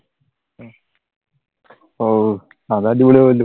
ആഹ് അത് അടിപൊളിയാകുമല്ലോ?